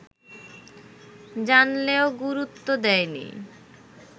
জানলেও গুরুত্ব দেয়নি